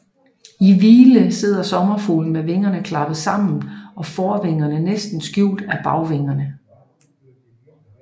I hvile sidder sommerfuglen med vingerne klappet sammen og forvingerne næsten skjult af bagvingerne